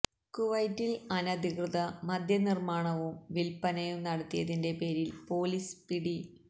കുവൈത്തിൽ അനധികൃത മദ്യ നിർമ്മാണവും വില്പനയും നടത്തിയതിന്റെ പേരിൽ പൊലീസ് പിടി